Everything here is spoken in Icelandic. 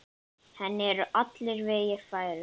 Henni eru allir vegir færir.